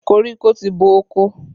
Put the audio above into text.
Koríko ti bo oko.